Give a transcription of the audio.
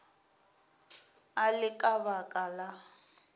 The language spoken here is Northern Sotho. e le ka baka la